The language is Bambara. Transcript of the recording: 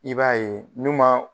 I b'a ye n'u ma